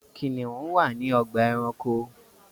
Kiniun wa ninu ogba éranko.